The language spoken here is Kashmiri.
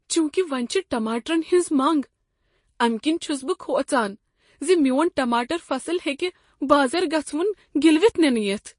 چونكہِ وۄنۍ چھِ ٹماٹرن ہنٛز منٛگ، امہ كِنۍ چھُس بہٕ كھوژان زِ میون ٹماٹر فصل ہیٚکہ بازر گژھوُن گِلوِتھ نِنہٕ یِتھ۔